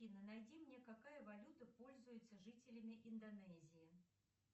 афина найди мне какая валюта пользуется жителями индонезии